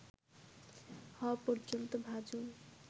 হওয়া পর্যন্ত ভাজুন